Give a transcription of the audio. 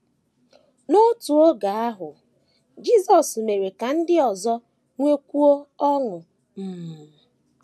N’otu oge ahụ, Jisọs mere ka ndị ọzọ nwekwuo ọṅụ um.